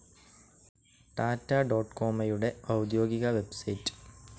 ടാറ്റ ഡൊകൊമൊയുടെ ഔദ്യോഗിക വെബ്സൈറ്റ്‌